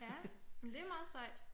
Ja men det er meget sejt